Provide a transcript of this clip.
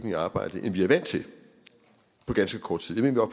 i arbejde end vi er vant til på ganske kort tid jeg mener